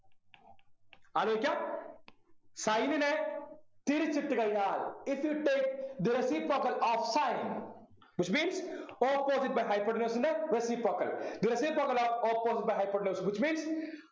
ആലോചിക്കാ sin നെ തിരിച്ചിട്ട് കഴിഞ്ഞാൽ if you take the reciprocal of sin which means opposite by hypotenuse ൻ്റെ reciprocal the reciprocal of opposite by hypotenuse which means